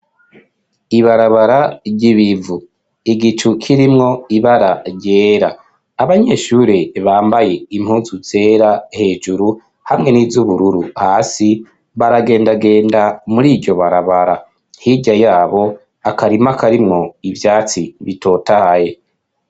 Ibarabara ry'ibivu. Igicu kirimwo ibara ryera. Abanyeshure bambaye impunzu zera hejuru hamwe n'iz'ubururu hasi, baragendagenda muri iryo barabara. Hirya yabo, akarima karimwo ivyatsi bitotaye.